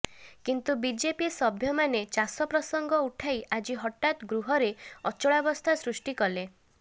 କିନ୍ତୁ ବିଜେପି ସଭ୍ୟମାନେ ଚାଷ ପ୍ରସଙ୍ଗ ଉଠାଇ ଆଜି ହଠାତ୍ ଗୃହରେ ଅଚଳାବସ୍ଥା ସୃଷ୍ଟି କଲେ